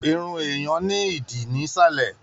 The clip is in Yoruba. Irun èèyàn ní ìdí nisalẹ.